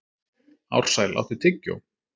Ársæl, áttu tyggjó?